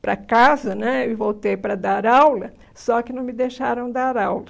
para casa né e voltei para dar aula, só que não me deixaram dar aula.